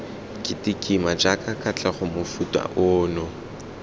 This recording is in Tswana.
ketekima jaaka katlego mofuta ono